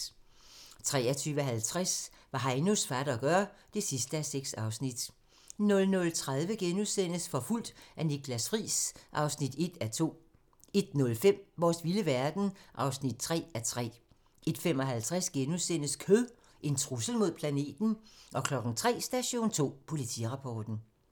23:50: Hvad Heinos fatter gør (6:6) 00:30: Forfulgt af Niklas Friis (1:2)* 01:05: Vores vilde verden (3:3) 01:55: Kød - en trussel mod planeten? * 03:00: Station 2: Politirapporten